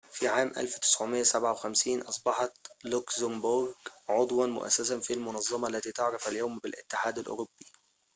في عام 1957 أصبحت لوكسمبورغ عضواً مؤسساً في المنظمة التي تعرف اليوم بالاتحاد الأوروبي